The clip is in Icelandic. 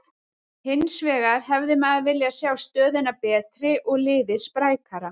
Hinsvegar hefði maður viljað sjá stöðuna betri og liðið sprækara.